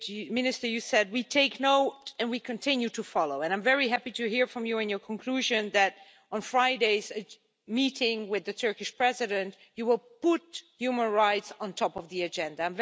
Minister, you said, we take note and we continue to follow', and I am very happy to hear from you in your conclusion that on Friday's meeting with the Turkish President, you will put human rights at the top of the agenda.